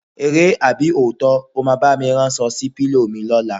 Eré àbí òótó̩? O máa bá mi ráns̩o̩ sí ìrò̩rí/pílò mi ló̩la?